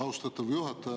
Austatud juhataja!